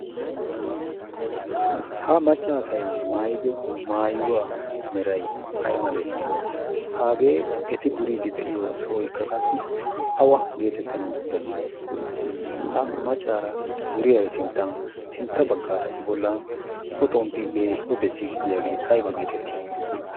ha maccaasai maayido maayuwaa meray ay malee hagee eti duriiddi de'iyo sooykka qassi awa geetettanawu danddayii ha maccaara duriyaari sinttan sintta baggaara i bollan xomppi de'iya o bessiid diyaagee ayba geetettii